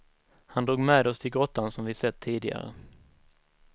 Han drog med oss till grottan som vi sett tidigare.